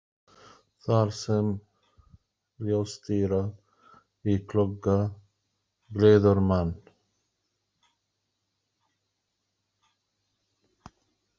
Þar sem ljóstíra í glugga gleður mann.